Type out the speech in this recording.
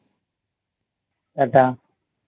Tata